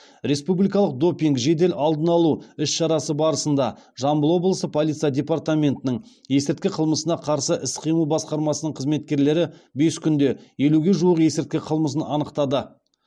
республикалық допинг жедел алдын алу іс шарасы барысында жамбыл облысы полиция департаментінің есірткі қылмысына қарсы іс қимыл басқармасының қызметкерлері бес күнде елуге жуық есірткі қылмысын анықтады